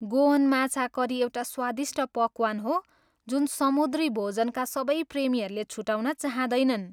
Goan माछा curry एउटा स्वादिष्ट पकवान हो जुन समुद्री भोजनका सबै प्रेमीहरूले छुटाउन चाहँदैनन्।